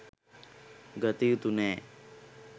ගතයුතු නෑ.